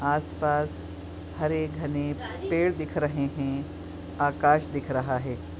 आस पास हरे घने पेड़ दिख रहे है आकाश दिख रहा है।